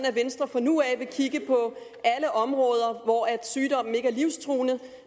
at venstre fra nu af vil kigge på alle områder hvor sygdomme ikke er livstruende